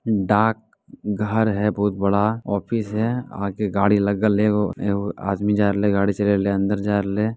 डाक घर है बहुत बड़ा ऑफिस है आगे गाड़ी लगल है एव एव आदमी जारले गाड़ी चालले ले अंदर जारले।